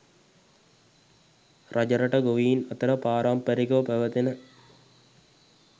රජරට ගොවීන් අතර පාරම්පරිකව පැවැතෙන